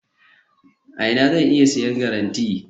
a ina zan iya siyan garanite?